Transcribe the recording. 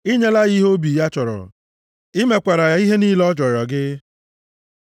I nyela ya ihe obi ya chọrọ; i mekwaara ya ihe niile ọ rịọrọ gị! Sela